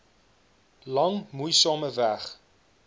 lang moeisame weg